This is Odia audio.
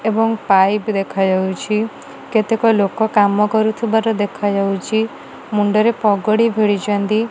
ଏବଂ ପାଇପ୍ ଦେଖା ଯାଉଛି କେତେକ ଲୋକ କାମ କରୁଥିବାର ଦେଖା ଯାଉଛି ମୁଣ୍ଡରେ ପଗଡ଼ି ଭିଡିଛନ୍ତି।